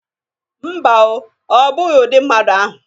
Mba o. Ọ bụghi udị mmadụ ahụ